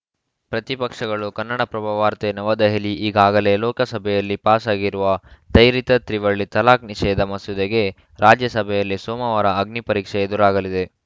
ಪ್ರತಿಪಕ್ಷಗಳು ಕನ್ನಡಪ್ರಭ ವಾರ್ತೆ ನವದೆಹಲಿ ಈಗಾಗಲೇ ಲೋಕಸಭೆಯಲ್ಲಿ ಪಾಸಾಗಿರುವ ತ್ವರಿತ ತ್ರಿವಳಿ ತಲಾಖ್‌ ನಿಷೇಧ ಮಸೂದೆಗೆ ರಾಜ್ಯಸಭೆಯಲ್ಲಿ ಸೋಮವಾರ ಅಗ್ನಿಪರೀಕ್ಷೆ ಎದುರಾಗಲಿದೆ